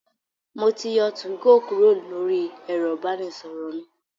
Mo ti yọ 2go Kúrò lóri ẹ̀rọ ìbánisọ̀rọ̀ mi.